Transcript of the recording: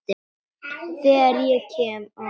Þegar ég kem á